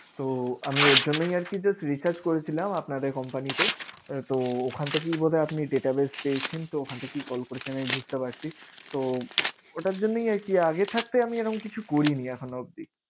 তো আমি ওর জন্যই আরকি just research করেছিলাম আপনাদের company তে আহ তো ওখান থেকেই বোধয় আপনি database পেয়েছেন তো ওখান থেকেই call করেছেন আমি বুঝতে পেরেছি। তো ওটার জন্যই আরকি আগে থাকতে আমি এরম কিছু করিনি এখনো অবধি।